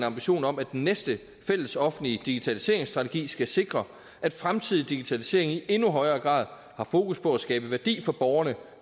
ambition om at den næste fællesoffentlige digitaliseringsstrategi skal sikre at fremtidig digitalisering i endnu højere grad har fokus på at skabe værdi for borgerne